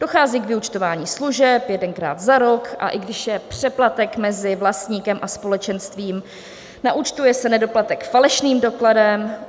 Dochází k vyúčtování služeb jedenkrát za rok, a i když je přeplatek mezi vlastníkem a společenstvím, naúčtuje se nedoplatek falešným dokladem.